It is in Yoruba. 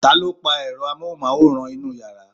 taló pa èro amóhùnmáwòrán inú yàrá?